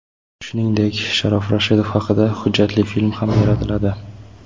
Shuningdek, Sharof Rashidov haqida hujjatli film ham yaratiladi.